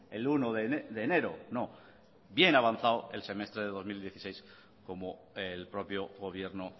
el uno de enero no bien avanzado el semestre de dos mil dieciséis como el propio gobierno